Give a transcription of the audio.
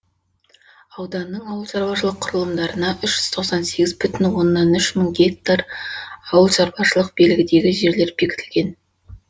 ауданның ауыл шаруашылық құрылымдарына үш жүз тоқсан сегіз бүтін оннан үш мың гектар ауыл шаруашылық белгідегі жерлер бекітілген